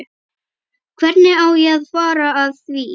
Hvernig á ég að fara að því?